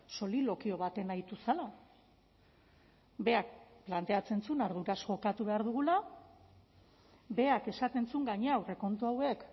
solilokio batean aritu zela berak planteatzen zuen arduraz jokatu behar dugula berak esaten zuen gainera aurrekontu hauek